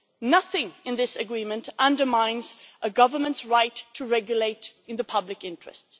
Nothing in this agreement undermines a government's right to regulate in the public interest